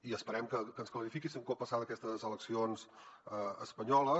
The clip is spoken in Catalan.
i esperem que ens ho clarifiqui un cop passades aquestes eleccions espanyoles